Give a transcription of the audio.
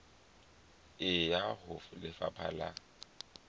e ya ho lefapha la